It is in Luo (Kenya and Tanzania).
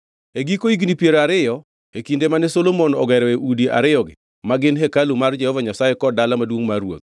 E giko higni piero ariyo e kinde mane Solomon ogeroe udi ariyogi ma gin hekalu mar Jehova Nyasaye kod dala maduongʼ mar ruoth,